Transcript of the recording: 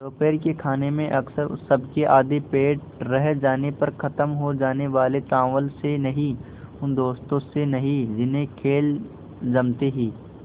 दोपहर के खाने में अक्सर सबके आधे पेट रह जाने पर ख़त्म हो जाने वाले चावल से नहीं उन दोस्तों से नहीं जिन्हें खेल जमते ही